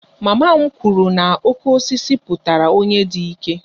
Mama m kwuru na 'oke osisi' pụtara onye dị ike